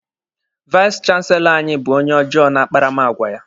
Vais chanselọ anyị bụ onye ọjọọ n'akparamagwa ya.